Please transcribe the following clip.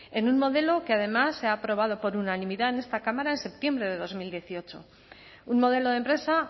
en un modelo que además se ha aprobado por unanimidad en esta cámara en septiembre de dos mil dieciocho un modelo de empresa